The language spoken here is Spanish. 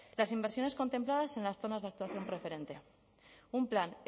las inversiones contempladas en las zonas de actuación preferente un plan